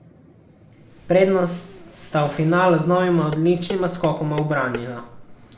Prednost sta v finalu z novima odličnima skokoma ubranila.